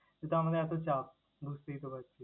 যেহেতু আমাদের এত চাপ, বুঝতেই তো পারছিস।